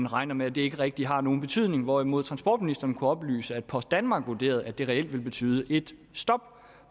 regner med at det ikke rigtig har nogen betydning hvorimod transportministeren kunne oplyse at post danmark vurderer at det reelt vil betyde et stop